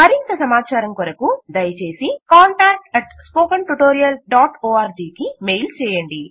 మరింత సమాచారం కొరకు దయచేసి contactspoken tutorialorg కు మెయిల్ చేయండి